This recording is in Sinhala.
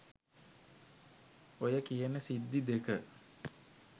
ඔය කියන සිද්දි දෙක